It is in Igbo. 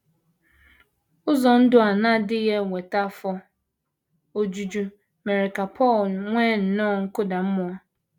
Ụzọ ndụ a na - adịghị eweta afọ ojuju mere ka Paul nwee nnọọ nkụda mmụọ.